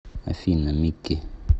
афина микки